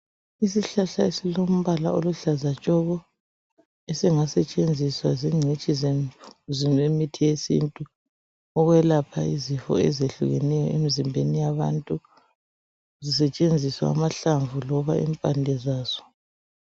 Isihlahla esilombala oluhlaza tshoko, esingasetshenziswa zingcitshi zemithi yesintu ukwelapha izifo ezehlukeneyo emzimbeni yabantu, kusetshenziswa amahlamvu loba impande zaso.